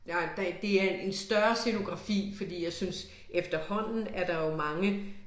Nej der det er en større scenografi fordi jeg synes efterhånden er der jo mange